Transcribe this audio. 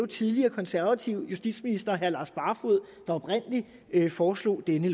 tidligere konservative justitsminister herre lars barfoed der oprindelig foreslog denne